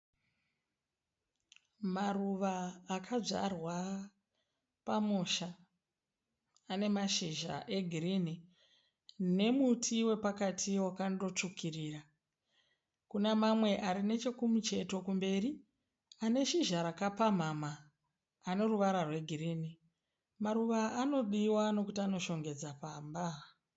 Maruva akadzvarwa pamusha. Anemashizha egirinhi nemuti wepakati wakandotsvukirira. Kunamamwe ari nechekumucheto kumberi aneshizha rakapamhamha neruvara rwegirinhi. Maruva anodiwa nekuti anoshongedza pamba.